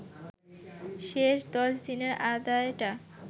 শেষ ১০ দিনের আদায়টা